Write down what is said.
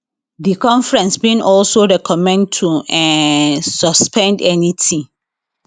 di conference bin also recommend to um suspend anytin